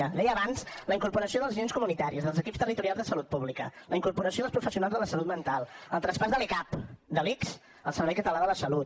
ho deia abans la incorporació dels agents comunitaris dels equips territorials de salut pública la incorporació dels professionals de la salut mental el traspàs de l’ecap de l’ics al servei català de la salut